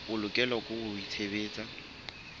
o lokela ho o tsebisa